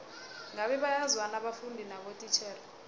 ngabe bayazwana abafundi nabotitjhere